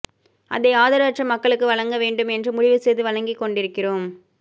அதை ஆதரவற்ற மக்களுக்கு வழங்க வேண்டும் என்று முடிவு செய்து வழங்கிக்கொண்டிருக்கிறோம்